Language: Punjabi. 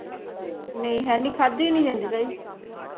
ਨਹੀਂ ਹੈਨੀ ਖਾਦੀ ਨਹੀਂ ਜਾਂਦੀ ਤਾਈ